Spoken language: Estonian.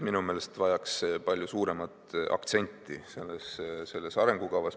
Minu meelest vajaks see palju suuremat aktsenti selles arengukavas.